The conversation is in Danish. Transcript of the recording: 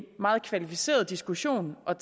meget kvalificeret diskussion af